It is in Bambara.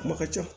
Ma ka ca